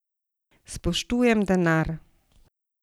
Spoštujem denar.